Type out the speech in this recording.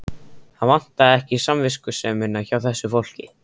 Það vantaði ekki samviskusemina hjá þessu fólki.